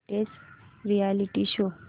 latest reality show